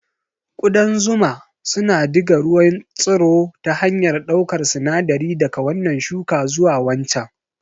Ƙudan zuma suna diga ruwan tsiro ta hanyar ɗaukar sinadari daga wannan shuka zuwa waccan.